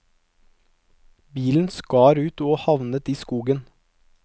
Bilen skar ut og havnet i skogen.